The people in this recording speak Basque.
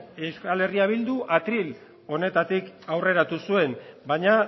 euskal herria bildu atril honetatik aurreratu zuen baina